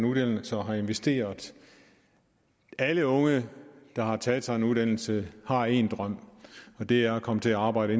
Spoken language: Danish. uddannelse og har investeret alle unge der har taget en uddannelse har en drøm og det er at komme til at arbejde